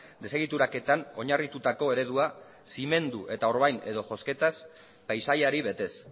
desegituraketan oinarritutako eredua zimendu eta orbain edo josketaz paisaiari betez